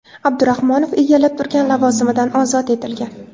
Abdurahmonov egallab turgan lavozimidan ozod etilgan.